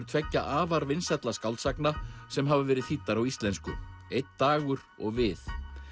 tveggja afar vinsælla skáldsagna sem hafa verið þýddar á íslensku einn dagur og við